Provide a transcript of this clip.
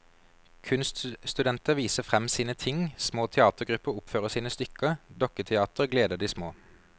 Kunststudenter viser frem sine ting, små teatergrupper oppfører sine stykker, dukketeater gleder de små.